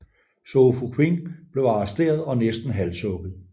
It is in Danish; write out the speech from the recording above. Zhou Fuqing blev arresteret og næsten halshugget